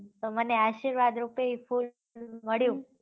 તો મને આશીર્વાદ રૂપે એ ફૂલ મળ્યું